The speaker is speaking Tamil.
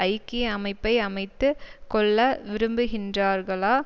ஐக்கிய அமைப்பை அமைத்து கொள்ள விரும்புகின்றார்களா